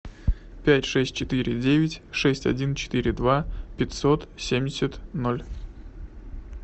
пять шесть четыре девять шесть один четыре два пятьсот семьдесят ноль